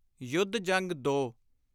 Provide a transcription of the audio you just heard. ਯੁੱਧ-ਜੰਗ-2